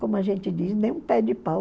Como a gente diz, nem um pé de pau.